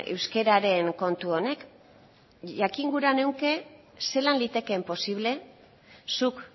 euskararen kontu honek jakingura nuke zelan litekeen posible zuk